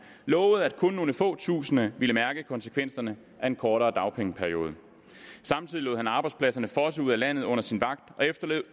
lovede at kun nogle få tusinde ville mærke konsekvenserne af en kortere dagpengeperiode samtidig lod han arbejdspladserne fosse ud af landet under sin vagt og efterlod